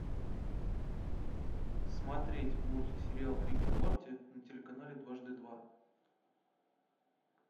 смотреть мультсериал рик и морти на телеканале дважды два